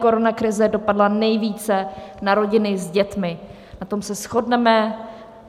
Koronakrize dopadla nejvíce na rodiny s dětmi, na tom se shodneme.